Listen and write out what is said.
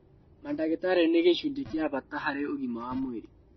Mandagĩtarĩ nĩ gĩcunjĩ gĩa bata harĩ ũgima wa mwĩrĩ